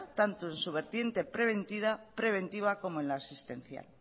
tanto en su vertiente preventiva como en la asistencial